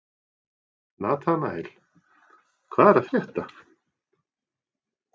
Nataníel, hvað er að frétta?